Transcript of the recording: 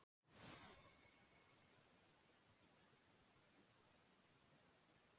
Þetta óttaðist Kamilla mest en hún reyndi að víkja þessum vangaveltum til hliðar um stund.